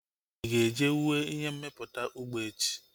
Ị ga-eje wue ihe mmepụta ụgbọ echi!